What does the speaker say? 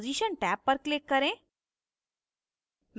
position tab पर click करें